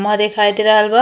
मा दिखाई दे रहल बा।